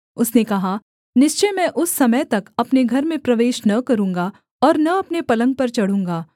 उसने कहा निश्चय मैं उस समय तक अपने घर में प्रवेश न करूँगा और न अपने पलंग पर चढूँगा